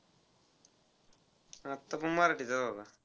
आता पण मराठीचाच होता.